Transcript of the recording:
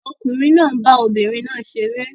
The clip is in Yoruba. Ọkùnrin náà ń bá obìnrin náà ṣeré